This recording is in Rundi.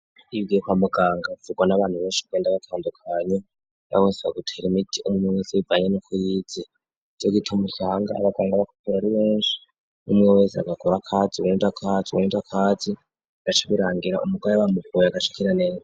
ingwara zo kwa muganga zivugwa n'abantu benshi batandukanye yahose agutera imite umwe wese bivanye nuko yize iyo gita umusanga abaganga ba kopere ari benshi n'umwe wese agakora akazi uwundi akazi bigaca. birangira umugwayi bamuvuye agaca akira neze.